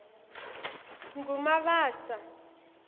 ngumabasa